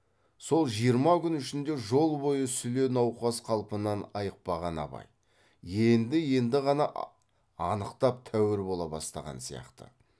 сол жиырма күн ішінде жол бойы сүле науқас қалпынан айықпаған абай енді енді ғана анықтап тәуір бола бастаған сияқты